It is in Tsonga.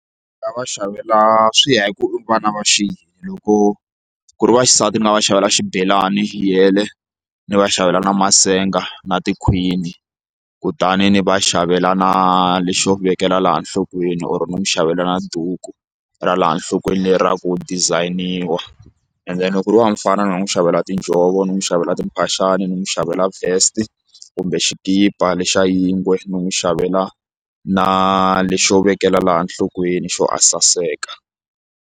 Ndzi nga va xavela swi ya hi ku vana va xi loko ku ri va xisati ni nga va xavela xibelani yele ni va xavela na masenga na tikhwini kutani ni va xavela na lexo vekela laha enhlokweni or ni n'wi xavela na duku ra laha nhlokweni lera ku design-iwa and then loko ku ri wa mufana ni nga n'wi xavela tinjhovo ni n'wi xavela timphaxani ni n'wi xavela vest kumbe xikipa lexa yingwe ni n'wi xavela na lexo vekela laha nhlokweni xo a saseka.